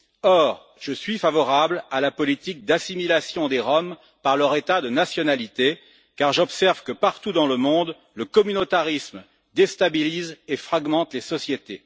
Or, je suis favorable à la politique d'assimilation des Roms par leur État de nationalité, car j'observe que, partout dans le monde, le communautarisme déstabilise et fragmente les sociétés.